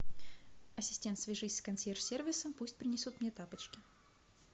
ассистент свяжись с консьерж сервисом пусть принесут мне тапочки